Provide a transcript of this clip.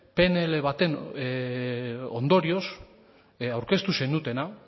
pnl baten ondorioz aurkeztu zenutena